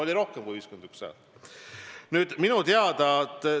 Oli rohkem kui 51 häält.